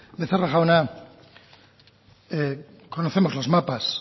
becerra jauna conocemos los mapas